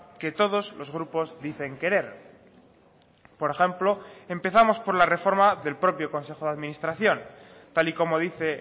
que todos los grupos dicen querer por ejemplo empezamos por la reforma del propio consejo de administración tal y como dice